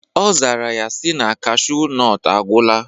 Ọ zara ya si na cashu nọt agwụla.